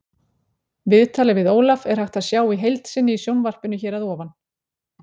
Viðtalið við Ólaf er hægt að sjá í heild sinni í sjónvarpinu hér að ofan.